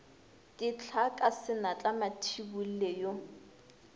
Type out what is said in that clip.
dihlaa ka senatla mathibolle yo